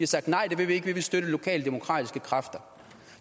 sagt nej det vil vi ikke vi vil støtte lokale demokratiske kræfter